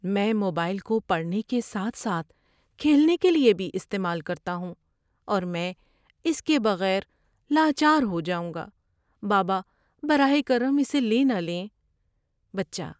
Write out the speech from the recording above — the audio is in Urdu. میں موبائل کو پڑھنے کے ساتھ ساتھ کھیلنے کے لیے بھی استعمال کرتا ہوں اور میں اس کے بغیر لاچار ہو جاؤں گا، بابا۔ براہ کرم اسے لے نہ لیں۔ (بچہ)